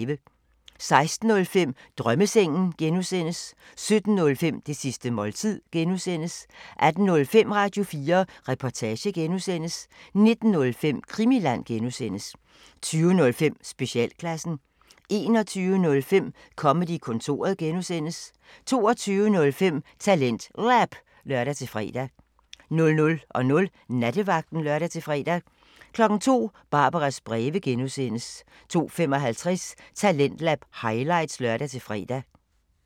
16:05: Drømmesengen (G) 17:05: Det sidste måltid (G) 18:05: Radio4 Reportage (G) 19:05: Krimiland (G) 20:05: Specialklassen 21:05: Comedy-kontoret (G) 22:05: TalentLab (lør-fre) 00:00: Nattevagten (lør-fre) 02:00: Barbaras breve (G) 02:55: Talentlab highlights (lør-fre)